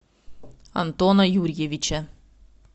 антона юрьевича